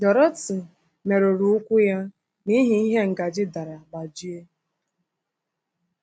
Dorothy merụrụ ụkwụ ya n’ihi ihe ngaji dara gbajie.”